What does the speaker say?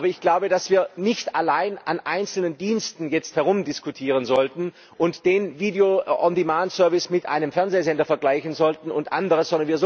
Aber ich glaube, dass wir nicht allein an einzelnen Diensten herumdiskutieren sollten und den video on demand service mit einem Fernsehsender vergleichen sollten und anderes.